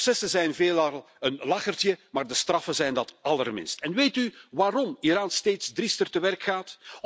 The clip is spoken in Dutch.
De processen zijn veelal een lachertje, maar de straffen zijn dat allerminst. Weet u waarom Iran steeds driester te werk gaat?